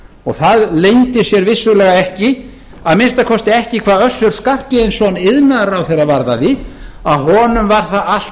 og það leyndi sér vissulega ekki að minnsta kosti ekki hvað össur skarphéðinsson iðnaðarráðherra varðaði að honum var það allt